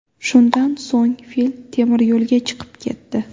Shundan so‘ng fil temiryo‘lga chiqib ketdi.